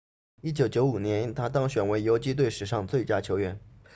1995年他当选为游击队史上最佳球员